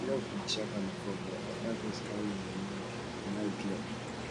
love bin dey shack am before but after grace carry im money run im eye clear